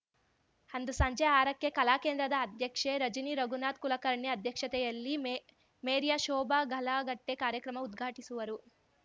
ಅಂದು ಸಂಜೆ ಆರಕ್ಕೆ ಕಲಾಕೇಂದ್ರದ ಅಧ್ಯಕ್ಷೆ ರಜನಿ ರಘುನಾಥ್ ಕುಲಕರ್ಣಿ ಅಧ್ಯಕ್ಷತೆಯಲ್ಲಿ ಮೇಮೇರ್ಯ ಶೋಭಾ ಪಲ್ಲಾಗಟ್ಟೆಕಾರ್ಯಕ್ರಮ ಉದ್ಘಾಟಿಸುವರು